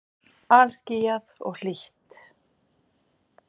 Alskýjað og hlýtt.